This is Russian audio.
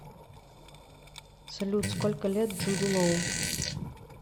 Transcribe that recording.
салют сколько лет джуду лоу